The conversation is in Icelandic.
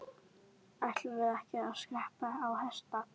Ætluðum við ekki að skreppa á hestbak?